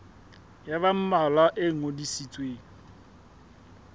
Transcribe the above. ya ba mmalwa e ngodisitsweng